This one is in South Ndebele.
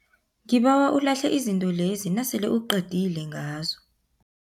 Ngibawa ulahle izinto lezi nasele uqedile ngazo.